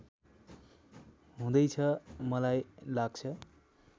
हुँदैछ मलाई लाग्छ